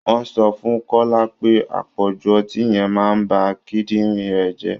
Wọ́n sọ fún kọ́lá pé àpọ̀jù ọtí yẹn màa ba kídìnrín rẹ̀ jẹ́